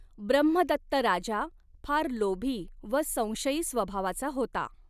ब्रह्मदत्त राजा फार लोभी व संशयी स्वभावाचा होता.